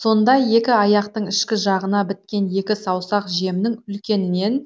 сонда екі аяқтың ішкі жағына біткен екі саусақ жемнің үлкенінен